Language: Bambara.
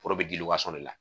Foro be di de la.